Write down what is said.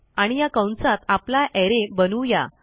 आणि या कंसात आपला अरे बनवू या